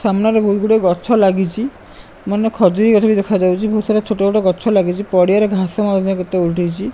ସାମ୍ନାରେ ବହୁତ ଗୁଡ଼ାଏ ଗଛ ଲାଗିଛି ମାନେ ଖଜୁରୀ ଗଛ ବି ଦେଖାଯାଉଚି ବହୁତ ସାରା ଛୋଟା ଛୋଟା ଗଛ ଲାଗିଛି ପଡିଆରେ ଘାସ ମାସ କେତେ ଉଠିଛି।